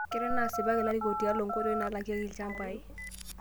Kenare naa asipak larikok tialo nkoitoi naalakieki ilchambai